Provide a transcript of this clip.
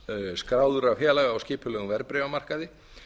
skráður af félögum og skipulegum verðbréfamarkaði